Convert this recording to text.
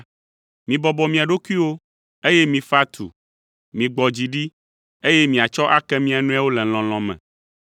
Mibɔbɔ mia ɖokuiwo, eye mifa tu. Migbɔ dzi ɖi, eye miatsɔ ake mia nɔewo le lɔlɔ̃ me.